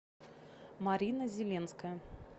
марина зеленская